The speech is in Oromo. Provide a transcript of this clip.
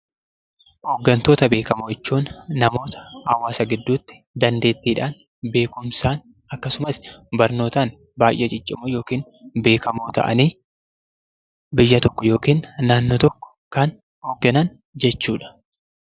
Hooggantoota beekamoo jechuun namoota hawaasa gidduutti dandeettiidhaan, beekumsaan akkasumas barnootaan baay'ee ciccimoo yookiin beekamoo ta'anii, biyya tokko yookiin naannoo tokko kan hoogganan jechuu dha.